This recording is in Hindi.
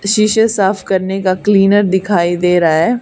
शीशे साफ करने का क्लीनर दिखाई दे रहा है।